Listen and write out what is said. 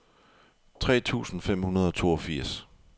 tre tusind fem hundrede og toogfirs